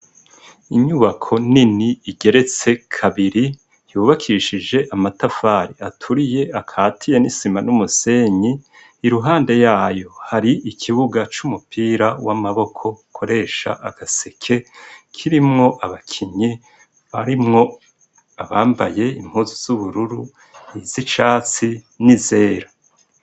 Inyubako nini igeretse kabiri yubakishije amatafari aturiye akatiye n'isima n’umusenyi, iruhande yayo hari ikibuga c'umupira w’amaboko ukoresha agaseke, kirimwo abakinyi harimwo abambaye impuzu z'ubururu izicatsi n'izera.